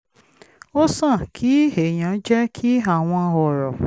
ó sàn kí èèyàn jẹ́ kí àwọn ọ̀rọ̀